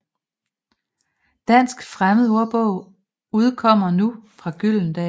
Dansk Fremmedordbog udkommer nu fra Gyldendal